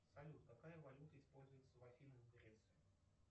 салют какая валюта используется в афинах в греции